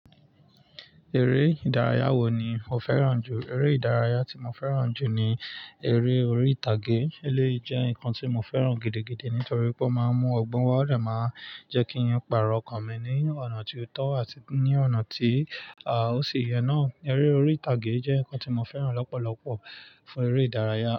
Eré ìdárayá wo ni o fẹ́ràn jù? Eré ìdárayá tí mo fẹ́ràn jù ni eré orí ìtàgé. Eleyi jẹ́ nǹkan tí mo fẹ́ràn gidigidi nítorí pé ó máa ń mú ọgbọ́n wá, ó dẹ màá jẹ́ kí ń pààrọ̀ ọkàn mi ní ọ̀nà tí ó tọ́ àti ní ọ̀nà tí, à, ó sì yẹ náà. Eré orí ìtàgé jẹ́ ǹkan tí mo fẹ́ràn lọ́pọ̀lọpọ̀ fún eré ìdárayá.